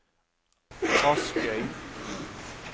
Askøy